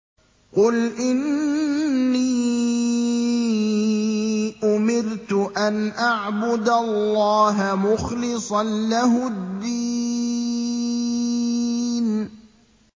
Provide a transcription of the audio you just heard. قُلْ إِنِّي أُمِرْتُ أَنْ أَعْبُدَ اللَّهَ مُخْلِصًا لَّهُ الدِّينَ